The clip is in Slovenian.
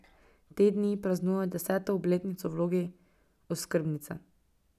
Te dni praznuje deseto obletnico v vlogi oskrbnice.